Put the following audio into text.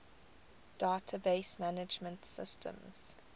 database management systems